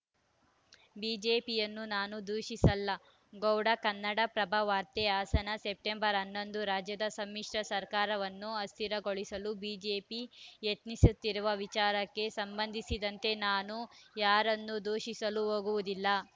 ಬಿಜೆಪಿಯನ್ನು ನಾನು ದೂಷಿಸಲ್ಲ ಗೌಡ ಕನ್ನಡಪ್ರಭ ವಾರ್ತೆ ಹಾಸನ ಸೆಪ್ಟೆಂಬರ್ ಹನ್ನೊಂದು ರಾಜ್ಯದ ಸಮ್ಮಿಶ್ರ ಸರ್ಕಾರವನ್ನು ಅಸ್ಥಿರಗೊಳಿಸಲು ಬಿಜೆಪಿ ಯತ್ನಿಸುತ್ತಿರುವ ವಿಚಾರಕ್ಕೆ ಸಂಬಂಧಿಸಿದಂತೆ ನಾನು ಯಾರನ್ನೂ ದೂಷಿಸಲು ಹೋಗುವುದಿಲ್ಲ